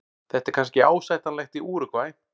Þetta er kannski ásættanlegt í Úrúgvæ.